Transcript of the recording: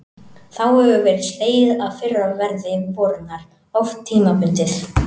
Þá hefur verið slegið af fyrra verði vörunnar, oft tímabundið.